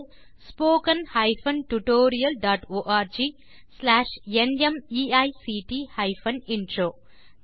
spoken hyphen tutorial dot org slash NMEICT hyphen intro மூல பாடம் Desi crew solutions